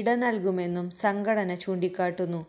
ഇടനൽകുമെന്നും സംഘടന ചൂണ്ടിക്കാട്ടുന്നു